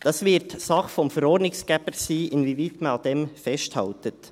Es wird Sache des Verordnungsgebers sein, inwieweit man daran festhält.